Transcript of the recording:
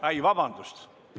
Oi, vabandust!